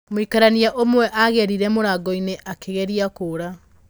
Mũikarania ũmwe agereire mũrango-inĩ akĩgeria kũũra